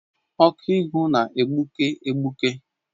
Ọkụ ịhụ na-egbuke egbuke